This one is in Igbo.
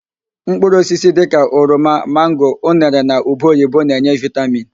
Mkpụrụ osisi dịka: oroma, mango, unere na ube oyibo na-enye vitamin.